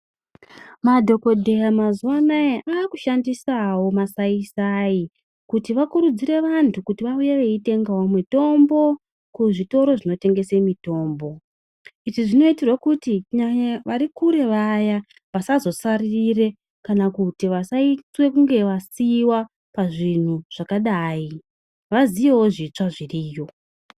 Madhokodheya mazuwa anaya aakushandisawo masaisai kuti vakurudzire vantu kuti vauye veitengawo mitombo kuzvitoro zvinotengese mitombo. Izvi zvinoitirwe kuti kunyanyanyanya vari kure vaya vasazosaririre kana kuti vasaitwe kunge vasiiwa pazvinhu zvakadai, vaziyewo zvitsva zviriyo.